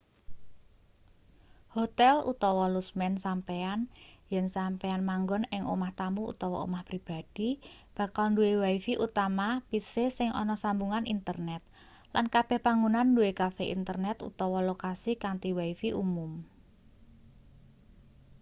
hotel utawa lusmen sampeyan yen sampeyan manggon ing omah tamu utawa omah pribadi bakal duwe wifi utawa pc sing ana sambungan internet lan kabeh panggonan duwe kafe internet utawa lokasi kanthi wifi umum